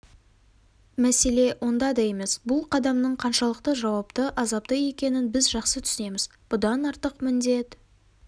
мәселе онда да емес бұл қадамның қаншалықты жауапты азапты екенін біз жақсы түсінеміз бұдан артық міндет